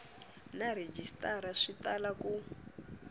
na rhejisitara swi tala ku